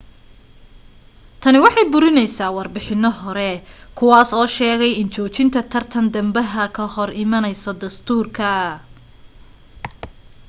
tani waxay burinaysaa warbixinano hore kuwaa oo sheegay in joojinta tartan dambaha ka hor imaanayso dastuurka